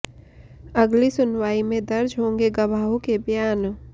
अगली सुनवाई में दर्ज होंगे गवाहों के बयान